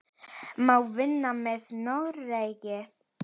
Má vinna með Noregi?